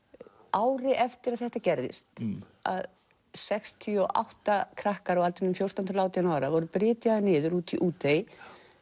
ári eftir að þetta gerðist að sextíu og átta krakkar á aldrinum fjórtán til átján voru brytjaðir niður úti í Útey